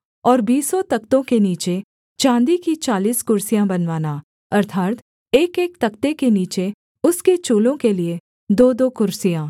और बीसों तख्तों के नीचे चाँदी की चालीस कुर्सियाँ बनवाना अर्थात् एकएक तख्ते के नीचे उसके चूलों के लिये दोदो कुर्सियाँ